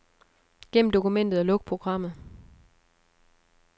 Gem dokumentet og luk programmet.